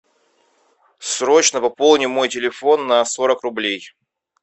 срочно пополни мой телефон на сорок рублей